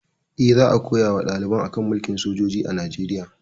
Eh, za a koya wa ɗaliban a kan mulkin sojoji a Najeriya